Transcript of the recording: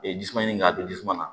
E jisuman ɲini ka don jisuman na